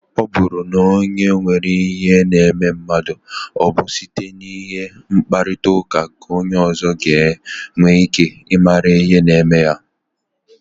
Ọ bụrụ na o nwere ihe na-eme mmadụ, ọ bụ site n'inwe mkparịta ụka ka onye ọzọ ga-enwe ike mara ihe na-eme ya.